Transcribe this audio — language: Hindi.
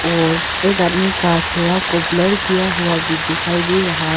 और एक आदमी का चेहरा को ब्लर किया हुआ भी दिखाई दे रहा है।